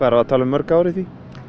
að tala um mörg ár í því